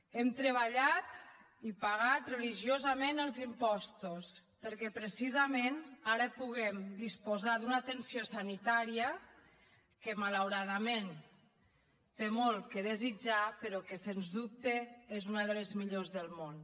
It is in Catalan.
hem treballat i pagat religiosament els impostos perquè precisament ara puguem disposar d’una atenció sanitària que malauradament té molt a desitjar però que sens dubte és una de les millors del món